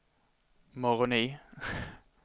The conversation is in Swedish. Moroni